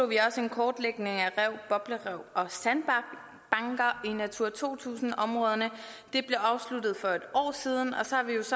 vi også en kortlægning af rev boblerev og sandbanker i natura to tusind områderne det blev afsluttet for et år siden og så